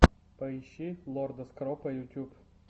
поищи лорда скропа ютьюб